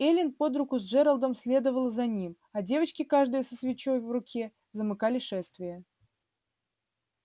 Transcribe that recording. эллин под руку с джералдом следовала за ним а девочки каждая со свечой в руке замыкали шествие